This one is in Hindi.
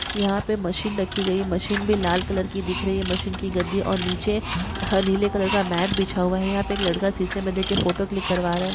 यहा पे मशीन रखी गई है मशीन भी लाल कलर के दिख रही है मशीन की गद्दी और नीचे नीले कलर का मैट बिछा हुआ है यहा पे एक लड़का सीसे मे देख के फोटो क्लिक करवा रहा है।